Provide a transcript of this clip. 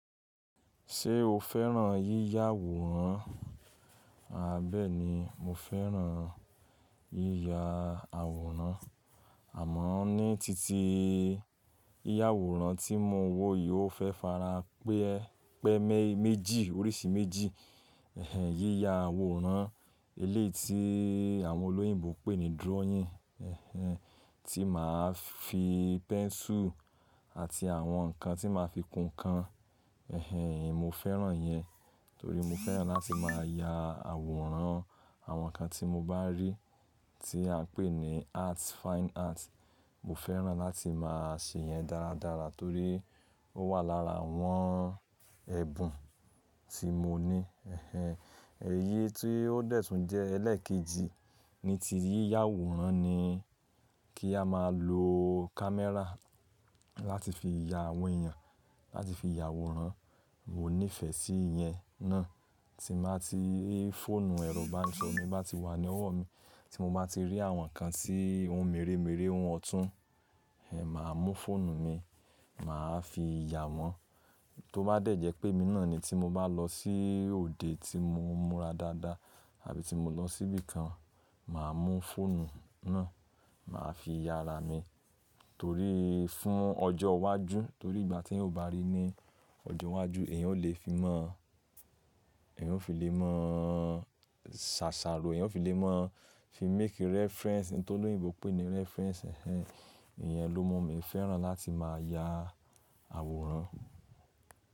Ṣé o fẹ́ràn yíya àwòrán? Aà bẹ̀è ni, mo fẹ́ràn yíya àwòrán. Àmọ́ ní titi yíya àwòrán tí mo wo yii ofẹ́ farapẹ́ pẹ́ me mẹ́jì, oríṣi méjì. Ẹ̀hẹn, yíya àwòrán eléyi tí àwọn olóyìnbo pè ní drawing, ẹ̀hẹn, tí màá fi pẹ́nsù àti àwọn ǹkan tí màá fi kún ǹkan, ẹ̀hẹn, mo fẹ́ràn iyẹn. Torí mo fẹ́ràn láti máa ya àwòrán àwọn ǹkan tí mo bá rí tí à ń pè ní art, fine art. Mo fẹ́ràn láti máa ṣe yẹn dáradára torí ó wà lára àwọn ẹ̀bùn tí mo ní. Ẹ̀hẹn, èyí tí ó dẹ̀ tún jẹ́ ẹlẹ́ẹ̀kejì ní ti yíya àwòrán ni kí a máa lo kámẹ́rà láti fi ya àwọn èèyàn, láti fi ya àwòrán. Mo nífẹ̀ sí ìyẹn náà. Tí n ba ti rí fóònù ẹ̀rọ ibanisoro mí bá ti wà ní ọwọ́ mi, tí mo bá ti rí àwọn ǹkan tí ohun mèremère ohun ọ̀tún, ehehn, màá mú fóònù mi, màá fi ya wọn. Tó bá dẹ̀ jẹ́ pé emi náà ni tí mo bá lọ sí òde tí mo múra dáadáa àbí tí mo lọ sí ibí kan, màá mú fóònù náà, màá fi ya ara mi. Torí fún ọjọ́ iwájú torí ìgbà tí eeyan o bá rí ní ọjọ́ iwájú èyàn ó lè fi mọ̀, èyàn ó fi lè mọ̀, ṣàṣàrò, èyàn ó fi lè mọ̀, fi make reference, ohun tí olóyìnbo pè ní reference, ẹ̀hẹn. Ìyẹn ló mú mi fẹ́ràn láti máa ya àwòrán.